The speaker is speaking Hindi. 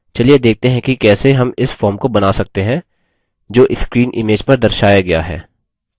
चलिए देखते हैं कि कैसे हम इस form को बना सकते हैं जो screen image पर दर्शाया गया है